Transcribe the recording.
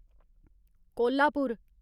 Kolhapur